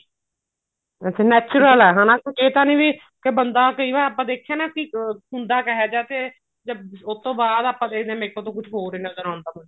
ਅੱਛਾ natural ਐ ਹਨਾ ਕੁੱਝ ਇਹ ਤਾਂ ਨੀ ਵੀ ਬੰਦਾ ਕਈ ਵਾਰ ਆਪਾਂ ਦੇਖਿਆ ਨਾ ਕਿ ਬੰਦਾ ਹੁੰਦਾ ਕਿਹੋ ਜਿਹਾ ਤੇ ਉਹ ਤੋਂ ਬਾਅਦ ਆਪਾਂ ਦੇਖਦੇ ਆ makeup ਤੋਂ ਬਾਅਦ ਕੁੱਝ ਹੋਰ ਹੀ ਨਜਰ ਆਉਂਦਾ